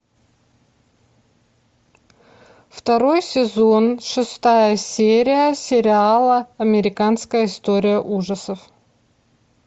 второй сезон шестая серия сериала американская история ужасов